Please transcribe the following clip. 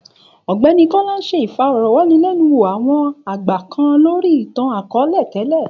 Ògbéni Kola n sé ìfõrõwànilènúwò awōn àgbà kan lòri itan àkõõle télè.